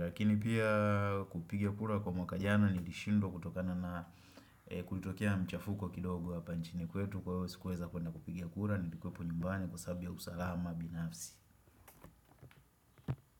Rakini pia kupiga kura kwa mwaka jana Nilishindwa kutokana na kulitokea mchafuko kidogo hapa nchini kwetu Kwahio sikuweza kuenda kupiga kura Nilikuwa hapa nyumbani kwa sababu ya usalama binafsi.